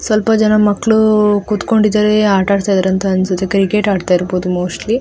ಸ್ವಲ್ಪ ಜನ ಮಕ್ಕಳು ಕುತ್ಕೊಂಡಿದ್ದಾರೆ ಆಟ ಆಡ್ತಿದ್ದಾರೆ ಅನ್ಸುತ್ತೆ ಕ್ರಿಕೆಟ್ ಅಡ್ತ ಇರಬಹುದು ಮೋಸ್ಟ್ಲಿ --